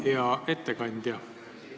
Hea ettekandja!